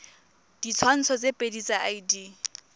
ditshwantsho tse pedi tsa id